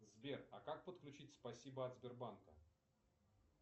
сбер а как подключить спасибо от сбербанка